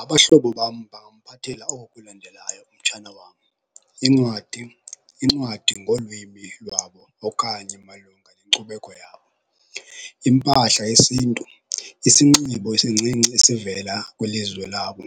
Abahlobo bam bangamphathela oku kulandelayo umtshana wam. Iincwadi, incwadi ngolwimi lwabo okanye malunga nenkcubeko yabo. Impahla yesintu, isinxibo esincinci esivela kwilizwe labo.